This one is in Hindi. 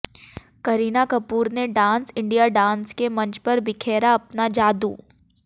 करीना कपूर ने डांस इंडिया डांस के मंच पर बिखेरा अपना जादू